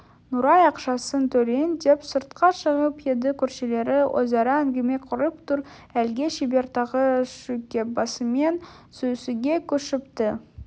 нұрай ақшасын төлейін деп сыртқа шығып еді көршілері өзара әңгіме құрып тұр әлгі шебер тағы шүйкебасымен сүйісуге көшіпті